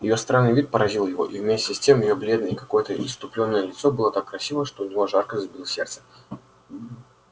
её странный вид поразил его и вместе с тем её бледное и какое-то исступлённое лицо было так красиво что у него жарко забилось сердце